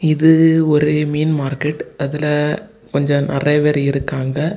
இது ஒரு மீன் மார்கெட் அதுல கொஞ்சம் நெறய பேரு இருக்காங்க.